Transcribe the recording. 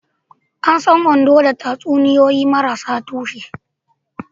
An san Ondo da tatsuniyoyi marasa tushe.